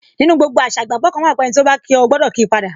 Nínú gbogbo àṣà, ìgbàgbọ́ kan wà pé, ẹniti o ba kí o, o gbọdọ kii pada